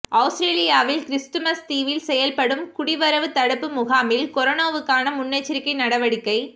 அவுஸ்ரேலியாவின் Christmas தீவில் செயல்படும் குடிவரவுத் தடுப்பு முகாமில் கொரோனாவுக்கான முன்னெச்சரிக்கை நடவடிக்கை